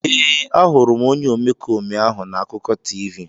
Ee, ahụrụ m onye omekome ahụ na akụkọ TV.